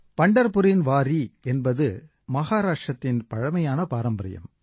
பந்தர்புரின் வாரீ என்பது மகாராஷ்ட்ரத்தின் பழமையான பாரம்பரியம்